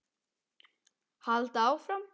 Halda áfram.